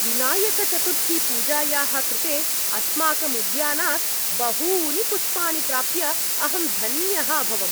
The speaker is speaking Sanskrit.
विनायकचतुर्थीपूजायाः कृते अस्माकम् उद्यानात् बहूनि पुष्पाणि प्राप्य अहम् धन्यः अभवम्।